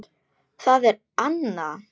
Það er Anna.